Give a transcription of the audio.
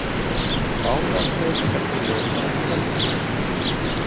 Báðar breytingartillögurnar felldar